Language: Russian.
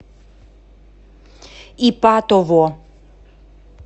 ипатово